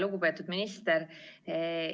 Lugupeetud minister!